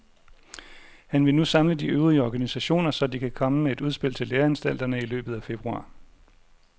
Han vil nu samle de øvrige organisationer, så de kan komme med et udspil til læreanstalterne i løbet af februar.